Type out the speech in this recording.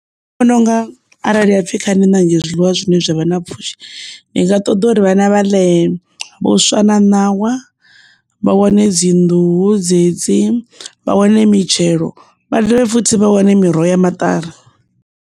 Nṋe ndi vhona unga arali ha pfi khandi nange zwiḽiwa zwine zwavha na pfhushi ndi nga ṱoḓa uri vhana vha ḽe vhuswa na ṋawa, vha wane dzi nḓuhu dzedzi, vha wane mitshelo, vha dovhe futhi vha wane miroho ya maṱari.